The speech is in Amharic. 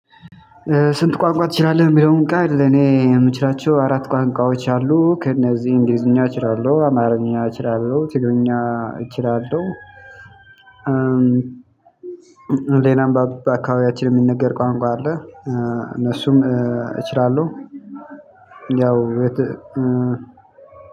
ስንት? ቋንቋ ትችላለህ የሚለውን ቃል እኔ የምችላቸው አራት ቋንቋዎች አሉ ከእነዚህ እንግሊዝኛ እችላለሁ አማርኛ እችላለሁ ትግርኛ እችላለሁ። ሌላም አንባቢ በአካባቢያችን የሚነገር ቋንቋ አለ እነሱም እችላለሁ። ያው